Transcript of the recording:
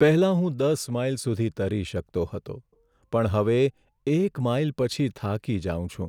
પહેલાં હું દસ માઈલ સુધી તરી શકતો હતો પણ હવે એક માઈલ પછી થાકી જાઉં છું.